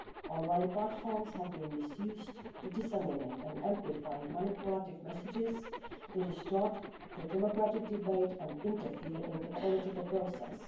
Online platforms have been misused to disseminate and amplify manipulative messages to distort the democratic debate and interfere in the political process.